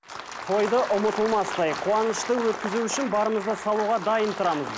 тойды ұмытылмастай қуанышты өткізу үшін барымызды салуға дайын тұрамыз